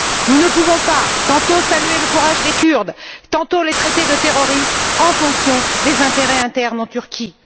Nous ne pouvons pas, tantôt saluer le courage des Kurdes, tantôt les traiter de terroristes en fonction des intérêts internes en Turquie.